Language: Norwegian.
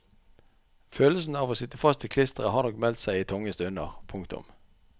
Følelsen av å sitte fast i klisteret har nok meldt seg i tunge stunder. punktum